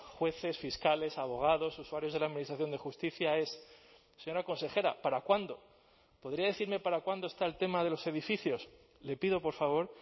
jueces fiscales abogados usuarios de la administración de justicia es señora consejera para cuándo podría decirme para cuándo está el tema de los edificios le pido por favor